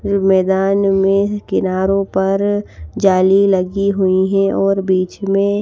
रु मैदान में किनारो पर जाली लगी हुई है और बीच में--